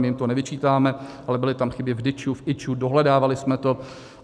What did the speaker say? My jim to nevyčítáme, ale byly tam chyby v DIČ, v IČO, dohledávali jsme to.